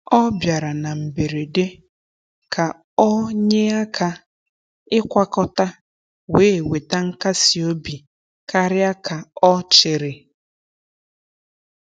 Ọ bịara na mberede ka ọ nyee aka ịkwakọta, wee weta nkasi obi karịa ka ọ chere.